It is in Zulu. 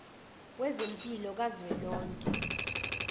wezempilo ka zwelonke